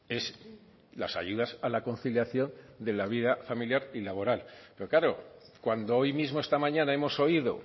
es las ayudas a la conciliación de la vida familiar y laboral pero claro cuando hoy mismo esta mañana hemos oído